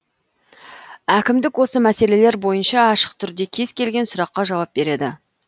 әкімдік осы мәселелер бойынша ашық түрде кез келген сұраққа жауап береді